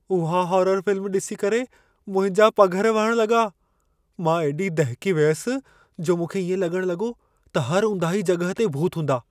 उहा horror film ॾिसी करे मुंहिंजा पघर वहण लॻा। मां एॾी दहिकी वियसि जो मूंखे इएं लॻण लॻो त हर ऊंदाही जॻहि ते भूत हूंदा।